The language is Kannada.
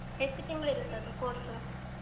ಎಷ್ಟ್ ತಿಂಗ್ಳ್ ಇರತ್ತದು course?